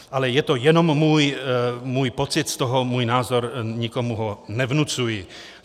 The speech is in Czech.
Ale je to jenom můj pocit z toho, můj názor, nikomu ho nevnucuji.